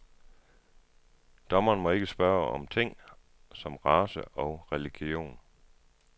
Dommeren må ikke spørge om ting som race og religion.